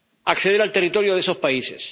acceder al territorio de esos países.